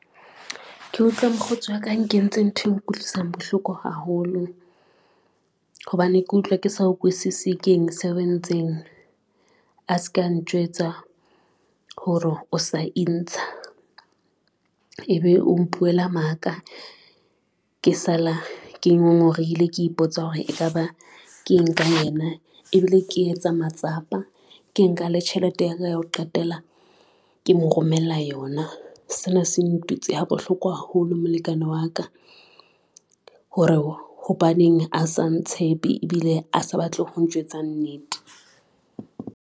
Ke utlwa mokgotsi wa ka a nkentseng nthwe nkutlwisang bohloko haholo, hobane ke utlwa ke sa ukwisisi se entseng a se ka njwetsa hore o sa intsha ebe o mpuela maka, ke sala ke ngongorehile, ke ipotsa hore ekaba ke eng ka yena. Ebile ke etse matsapa, ke nka le tjhelete ya ka ho qetela ke mo romella yona. Sena se ntutse ha bohloko haholo molekane wa ka, hore hobaneng a se ntshepe ebile a sa batle ho ntjwetsa nnete.